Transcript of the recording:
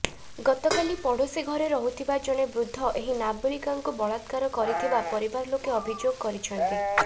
ଗତକାଲି ପଡୋଶୀ ଘରେ ରହୁଥିବା ଜଣେ ବୃଦ୍ଧ ଏହି ନାବାଳିକାଙ୍କୁ ବଳାତ୍କାର କରିଥିବା ପରିବାର ଲୋକେ ଅଭିଯୋଗ କରିଛନ୍ତି